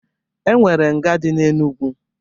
E nwere nga dị n'Enugu.